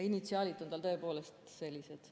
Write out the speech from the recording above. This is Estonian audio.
Initsiaalid on tal tõepoolest sellised.